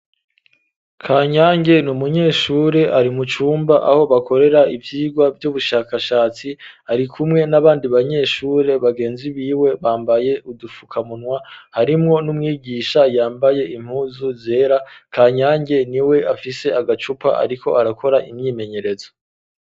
Ka nyange ni umunyeshure ari mucumba aho bakorera ivyirwa vy'ubushakashatsi ari kumwe n'abandi banyeshure bagenzi biwe bambaye udufukamunwa harimwo n'umwigisha yambaye impuzu zera kanyange ni we afise agacupa, ariko arakora imyimenyerezo.